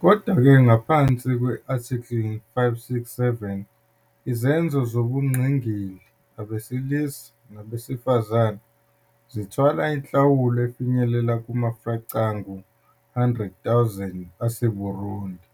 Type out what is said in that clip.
Kodwa-ke, ngaphansi kwe- "Article 567", izenzo zobungqingili, abesilisa nabesifazane, zithwala inhlawulo efinyelela kuma-franc angu-100 000 aseBurundi